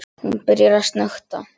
Hún byrjar að snökta.